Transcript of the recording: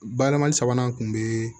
Bayɛlɛmali sabanan kun bɛ